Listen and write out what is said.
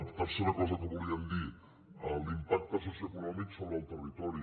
tercera cosa que volíem dir l’impacte socioeconòmic sobre el territori